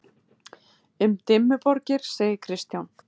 Um Dimmuborgir segir Kristján: